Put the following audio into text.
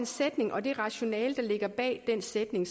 sætning og det rationale der ligger bag den sætning